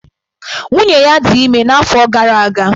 Nwunye ya dị ime n'afọ gara aga.